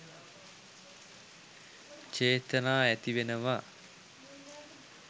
චේතනා ඇතිවෙනවා